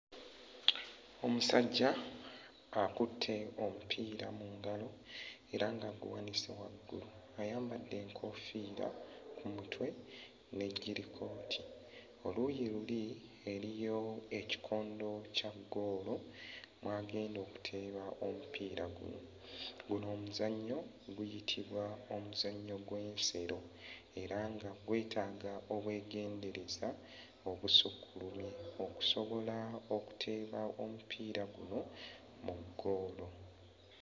Omusajja akutte omupiira mu ngalo era ng'aguwanise waggulu, ayambadde enkoofiira ku mutwe n'eggirikooti. Oluuyi luli eriyo ekikondo kya ggoolo mw'agenda okuteeba omupiira guno. Guno omuzannyo guyitibwa omuzannyo gw'ensero era nga gwetaaga obwegendereza obusukkulumye okusobola okuteeba omupiira guno mu ggoolo.